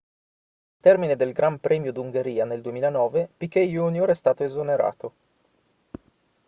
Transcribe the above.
al termine del gran premio d'ungheria del 2009 piquet jr è stato esonerato